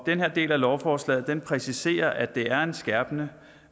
den her del af lovforslaget præciserer at det er en skærpende